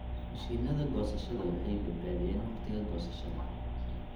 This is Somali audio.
Mashiinnada goosashada waxay badbaadiyaan wakhtiga goosashada.